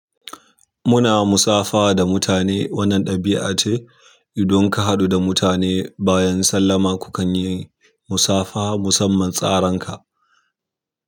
Muna musafaha da mutane. Wannan ɗabi'a ce idan ka haɗu da mutane bayan sallama, kukan yi musafaha musamman tsaranka.